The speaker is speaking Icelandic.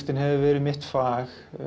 hefur verið mitt fag